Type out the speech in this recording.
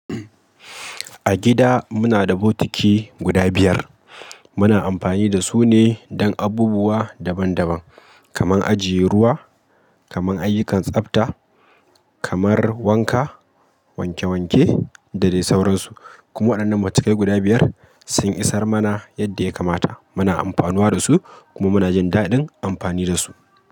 A gida muna da bokitai guda biyar. Muna amfani da su ne don abubuwa daban daban, kamar ajiye ruwa, kamar ayyukan tsabta, kamar wanka, wanke wanke da dai sauransu. Kuma waɗannan bokitai guda biyar sun isar mana yadda ya kamata. Muna amfanuwa da su kuma muna jin daɗin amfani da su.